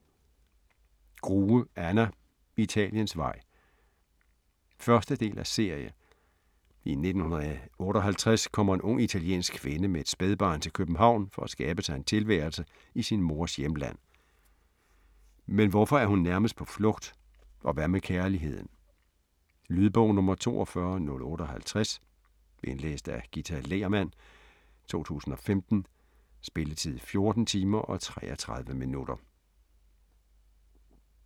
Grue, Anna: Italiensvej 1. del af serie. I 1958 kommer en ung italiensk kvinde med et spædbarn til København for at skabe sig en tilværelse i sin mors hjemland. Men hvorfor er hun nærmest på flugt? Og hvad med kærligheden? Lydbog 42058 Indlæst af Ghita Lehrmann, 2015. Spilletid: 14 timer, 33 minutter.